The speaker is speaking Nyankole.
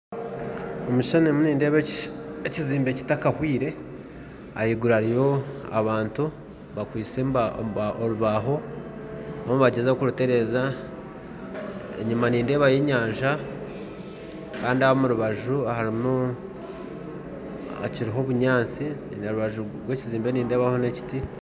Omu kishuushani ndimu nindeeba ekizimbe kitakahwire ahaiguru hariyo abantu bakwistye orubaaho barimu nibagyezaho kurutereeza enyima nindeebayo enyanja kandi omurubaju harimu obunyatsi n'ekiti